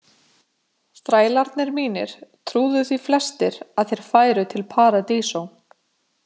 Þrælarnir mínir trúðu því flestir að þeir færu til Paradiso.